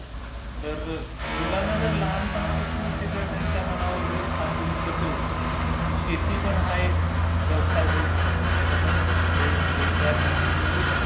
तर मुलांना जर लहानपणापासून जर त्यांच्या मनावर जर ठासून बसवलं की शेती पण हा एक व्यवसाय होऊ शकतो, त्याच्यामध्ये पण रोजगार निर्मिती होऊ शकते.